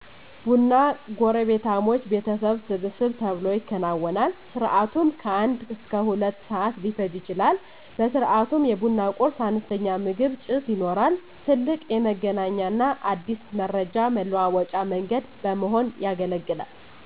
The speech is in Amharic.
ቡና ጎረቤታሞች ቤተሰብ ሰብሰብ ተብሎ ይከወናል። ስርዓቱም ከአንድ እስከ ሁለት ሰዓት ሊፈጅ ይችላል። በስርዓቱም የቡና ቁርስ(አነስተኛ ምግብ) ፣ ጭስ ይኖራል። ትልቅ የመገናኛና አዲስ መረጃ መለዋወጫ መንገድ በመሆን ያገለግላል።